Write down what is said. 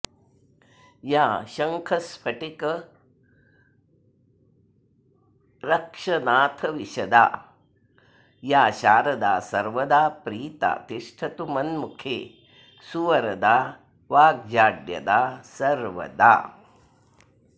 या शङ्खस्फटिकर्क्षनाथविशदा या शारदा सर्वदा प्रीता तिष्ठतु मन्मुखे सुवरदा वाग्जाड्यदा सर्वदा